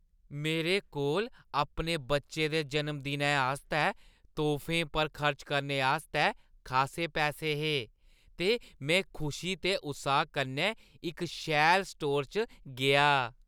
मेरे कोल अपने बच्चे दे जनमदिनै आस्तै तोह्फें पर खर्च करने आस्तै खासे पैसे है हे ते में खुशी ते उत्साह कन्नै इक शैल स्टोर च गेआ ।